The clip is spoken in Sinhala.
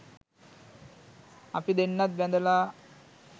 අපි දෙන්නත් බැඳලා